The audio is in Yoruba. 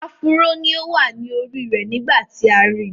Áfúró ni ó wà ní orí rẹ̀ nígbà tí a ri.